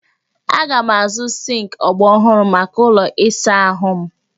Aga m azụ sịnkị ọgbaraọhụrụ maka ụlọ ịsa ahụ m